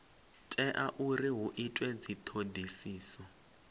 tea uri hu itwe dzithodisiso